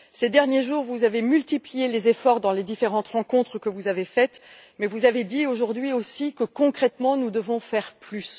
Ces derniers jours, vous avez multiplié les efforts dans les différentes rencontres que vous avez faites, mais vous avez dit aujourd'hui aussi que, concrètement, nous devons faire plus.